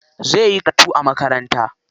Zai yi karatu a makaranta.